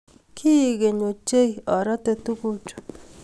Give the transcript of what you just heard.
Kiek keny ochei arate tugukchu